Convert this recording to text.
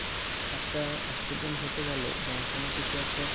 একটা accident ঘটে গেলো বা কোনো কিছু একটা